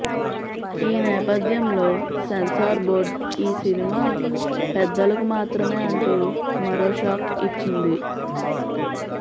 ఈ నేపథ్యంలో censor board ఈ సినిమా పెద్దలకు మాత్రమే అంటూ మరో షాక్ ఇచ్చింది